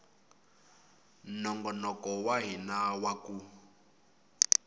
nongonoko wa hina wa ku